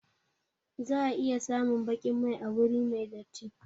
Za a iya samun baƙin mai a wuri mai datti